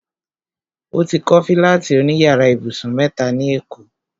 O ti kọ́ fílátì òní yàrá ibùsùn mẹ́ta ní èkó